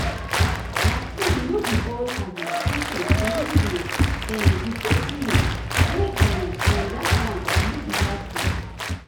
like so no be all um patients believe in um the same healing way um and that one no be bad thing.